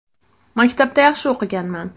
Maktabda yaxshi o‘qiganman.